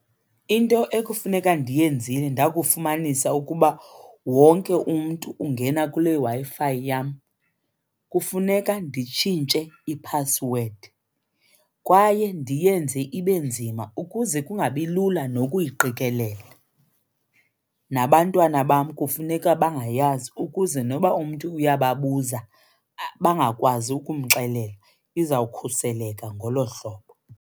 Into ekufuneka ndiyenzile ndakufumanisa ukuba wonke umntu ungena kule Wi-Fi yam kufuneka nditshintshe iphasiwedi kwaye ndiyenze ibe nzima ukuze kungabi lula nokuyiqikelela. Nabantwana bam kufuneka bangayazi ukuze noba umntu uyababuza bangakwazi ukumxelela. Iza kukhuseleka ngolo hlobo.